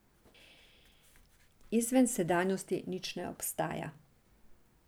Izven sedanjosti nič ne obstaja.